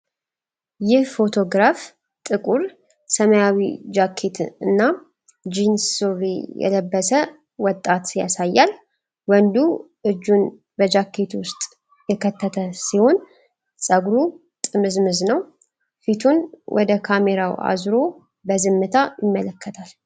ይህ ፎቶግራፍ ጥቁር ሰማያዊ ጃኬት እና ጂንስ ሱሪ የለበሰ ወጣት ያሳያል። ወንዱ እጁን በጃኬቱ ኪስ ውስጥ የከተተ ሲሆን፥ ፀጉሩ ጥምዝምዝ ነው፤ ፊቱን ወደ ካሜራው አዙሮ በዝምታ ይመለከታል።